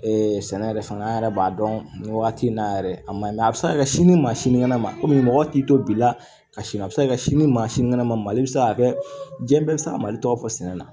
Ee sɛnɛ yɛrɛ fanga yɛrɛ b'a dɔn nin waati in na yɛrɛ a man ɲi a bɛ se ka kɛ sini maa sinikɛnɛ ma komi mɔgɔ t'i to bi la ka sini a bɛ se ka kɛ sini maa sinikɛnɛ mali bɛ se ka kɛ diɲɛ bɛɛ bɛ se ka mali tɔ fɔ sɛnɛ na